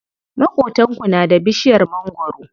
Maƙotanku na da bishiyar mangwaro?